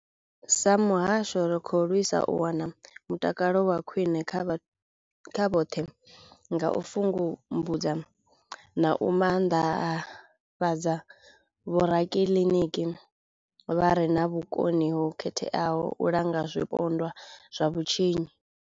Sa muhasho, ri khou lwisa u wana mutakalo wa khwine kha vhoṱhe nga u pfumbudza na u maanḓafhadza vhorakiliniki vha re na vhukoni ho khetheaho u langa zwipondwa zwa vhutshinyi.